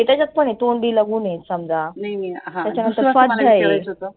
त्याच्यात पण आहे तोंडीला गुण आहे समजा त्याच्या नंतर